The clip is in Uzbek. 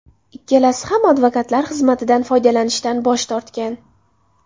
Ikkalasi ham advokatlar xizmatidan foydalanishdan bosh tortgan.